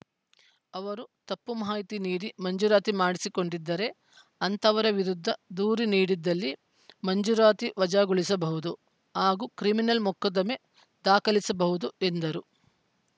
ಅವರು ತಪ್ಪು ಮಾಹಿತಿ ನೀಡಿ ಮಂಜೂರಾತಿ ಮಾಡಿಸಿಕೊಂಡಿದ್ದರೆ ಅಂಥವರ ವಿರುದ್ಧ ದೂರು ನೀಡಿದ್ದಲ್ಲಿ ಮಂಜೂರಾತಿ ವಜಾಗೊಳಿಸಬಹುದು ಹಾಗೂ ಕ್ರಿಮಿನಲ್‌ ಮೊಕದ್ದಮೆ ದಾಖಲಿಸಬಹುದು ಎಂದರು